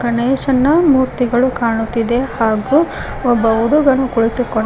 ಗಣೇಶನ ಮೂರ್ತಿಗಳು ಕಾಣುತ್ತಿದೆ ಹಾಗೂ ಒಬ್ಬ ಹುಡುಗನು ಕುಳಿತುಕೊಂಡು--